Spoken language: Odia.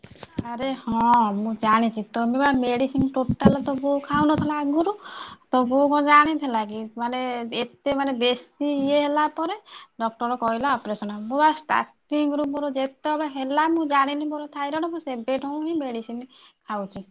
ଆରେ ହଁ ମୁଁ ଜାଣିଛି ତମେ ବା medicine totally ତୋ ବୋଉ ଖାଉନଥିଲା ଆଗରୁ ତୋ ବୋଉ କଣ ଜାଣିଥିଲା କି ମାନେ ଏତେ ମାନେ ବେଶୀ ଇଏ ହେଲା ପରେ doctor କହିଲା operation ମୁଁ ବା starting ? ରୁ ମୋର ବା ଯେତେ ବେଳେ ହେଲା ମୁଁ ଜାଣିଲି ମୋର ଥାଇରେଡ ମୁଁ ସେବେ ଠାରୁ ହିଁ medicine ଖାଉଛି।